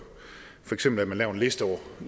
for eksempel at man laver en liste over